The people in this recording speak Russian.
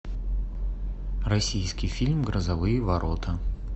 российский фильм грозовые ворота